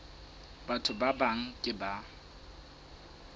batho ba bang ke ba